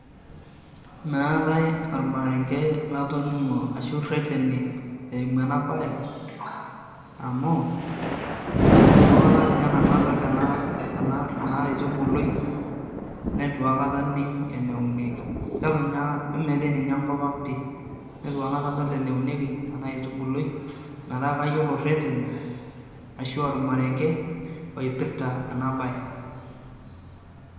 maatae ormarenke latoningo ashu ireteni eimu enabae amu itu aekata ninye nanu adol ena , ena aitubului neitu aiakata aning eneunieki , ketuninye , emetii ninye enkopang pi , nituaikata adol eneunieki enaitubului metaa kayiolo irereni ashu ormarenke oipirta enabae.